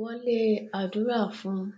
wọlé àdúrà fún un